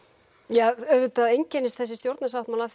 ja auðvitað einkennist þessi stjórnarsáttmáli af